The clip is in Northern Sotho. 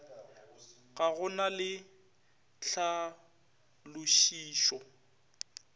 ga go na le tlhalošišo